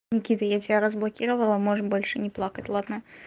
никита я тебя разблокировала можем больше не плакать ладно